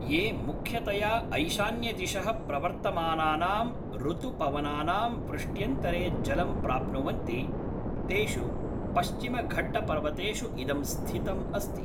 ये मुख्यतया ऐशान्यदिशः प्रवर्तमानानाम् ऋतुपवनानां वृष्ट्यन्तरे जलं प्राप्नुवन्ति तेषु पश्चिमघट्टपर्वतेषु इदं स्थितम् अस्ति।